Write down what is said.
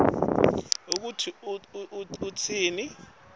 kutsi utsini